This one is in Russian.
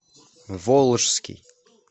волжский